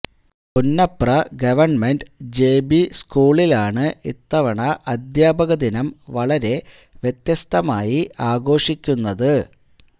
പുന്നപ്ര ഗവ ജെബിസ്കൂളിലാണ് ഇത്തവണ അദ്ധ്യാപക ദിനം വളരെ വ്യത്യസ്തമായി ആഘോഷിക്കുന്നത്